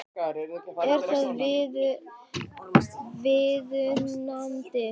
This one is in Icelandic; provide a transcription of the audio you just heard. Er það viðunandi?